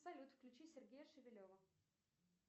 салют включи сергея шевелева